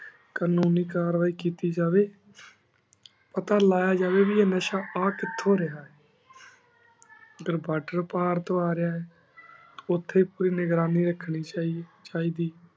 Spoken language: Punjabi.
ਕਾਨੂਨੀ ਕਾਰਵਾਈ ਕੀਤੀ ਜਾਵੇ ਪਤਾ ਲਾਯਾ ਜਾਏ ਕੀ ਏਹ ਨਸ਼ਾ ਆ ਕਿਥੋਂ ਰਿਹਾ ਹੈ ਜੇ border ਪਾਰ ਤੋਂ ਆ ਰਿਹਾ ਆ ਉਥੇ ਪੂਰੀ ਨਿਗਰਾਨੀ ਰੱਖਣੀ ਚਾਹੀਦੀ